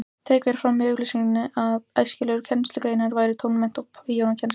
Tekið var fram í auglýsingunni að æskilegar kennslugreinar væru tónmennt og píanókennsla.